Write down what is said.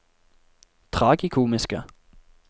tragikomiske